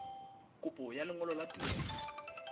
kopo ya lengolo la tumello